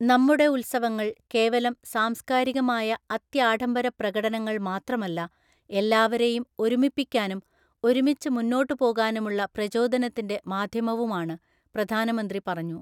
നമ്മുടെ ഉത്സവങ്ങള്‍ കേവലം സാംസ്കാരികമായ അത്യാഢംബര പ്രകടനങ്ങള്‍ മാത്രമല്ല, എല്ലാവരേയും ഒരുമിപ്പിക്കാനും ഒരുമിച്ച് മുന്നോട്ട് പോകാനുമുള്ള പ്രചോദനത്തിന്റെ മാധ്യമവുമാണ്, പ്രധാനമന്ത്രി പറഞ്ഞു.